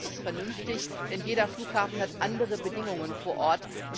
werden. Das ist vernünftig, denn jeder Flughafen hat andere Bedingungen vor